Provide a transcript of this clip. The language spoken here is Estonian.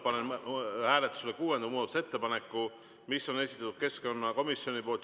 Panen hääletusele kuuenda muudatusettepaneku, mis on esitatud keskkonnakomisjoni poolt.